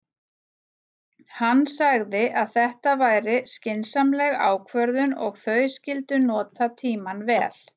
Hann sagði að þetta væri skynsamleg ákvörðun og þau skyldu nota tímann vel.